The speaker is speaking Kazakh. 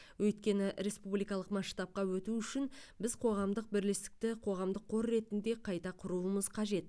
өйткені республикалық масштабқа өту үшін біз қоғамдық бірлестікті қоғамдық қор ретінде қайта құруымыз қажет